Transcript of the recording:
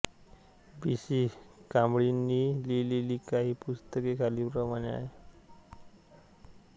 बी C कांबळेंनी लिहिलेली काही पुस्तके खालीलप्रमाणे आहेत